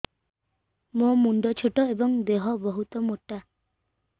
ମୋ ମୁଣ୍ଡ ଛୋଟ ଏଵଂ ଦେହ ବହୁତ ମୋଟା